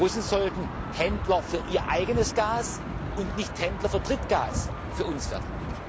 Die Russen sollten Händler für ihr eigenes Gas und nicht Händler für Drittgas für uns werden.